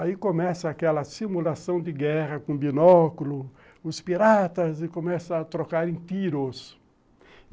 Aí começa aquela simulação de guerra com binóculo, os piratas começam a trocar em tiros.